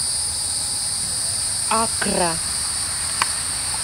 аккра